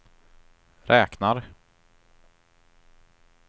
räknar